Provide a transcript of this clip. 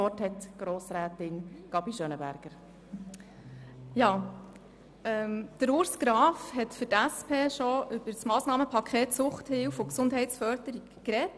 Urs Graf hat für die SP-JUSO-PSA-Fraktion bereits über das Massnahmenpaket Suchthilfe und Gesundheitsförderung gesprochen.